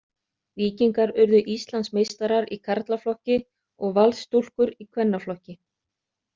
Víkingar urðu Íslandsmeistarar í karlaflokki og Valsstúlkur í kvennaflokki.